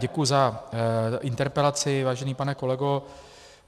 Děkuji za interpelaci, vážený pane kolego.